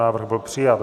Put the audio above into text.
Návrh byl přijat.